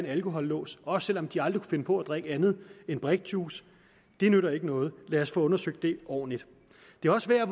alkolås også selv om de aldrig finde på at drikke andet end brikjuice det nytter ikke noget lad os få undersøgt det ordentligt det er også værd at